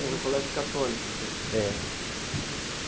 Era um colégio católico, então. É.